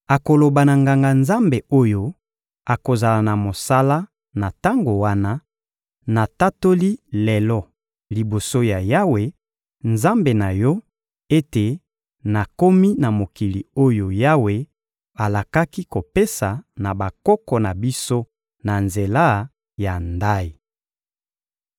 Akoloba na Nganga-Nzambe oyo akozala na mosala na tango wana: «Natatoli lelo liboso ya Yawe, Nzambe na yo, ete nakomi na mokili oyo Yawe alakaki kopesa na bakoko na biso na nzela ya ndayi.»